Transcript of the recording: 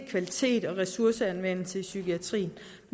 kvalitet og ressourceanvendelse i psykiatrien